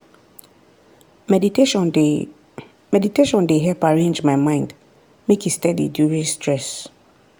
meditation dey meditation dey help arrange my mind make e steady during stress.